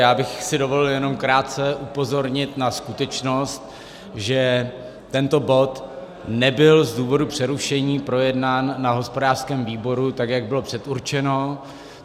Já bych si dovolil jenom krátce upozornit na skutečnost, že tento bod nebyl z důvodu přerušení projednán na hospodářském výboru, tak jak bylo předurčeno.